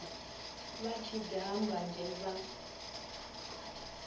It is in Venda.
vha tshi daha mbanzhe vha